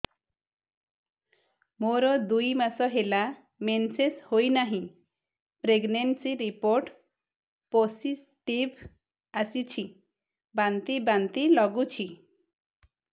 ମୋର ଦୁଇ ମାସ ହେଲା ମେନ୍ସେସ ହୋଇନାହିଁ ପ୍ରେଗନେନସି ରିପୋର୍ଟ ପୋସିଟିଭ ଆସିଛି ବାନ୍ତି ବାନ୍ତି ଲଗୁଛି